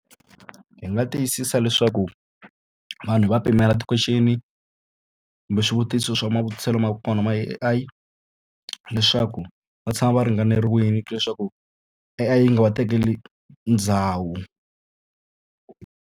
Hi nga tiyisisa leswaku vanhu hi va pimela ti-question kumbe swivutiso swa matirhiselo ma kona ma A_I leswaku va tshama va ringanerile leswaku A_I yi nga va tekeli ndhawu.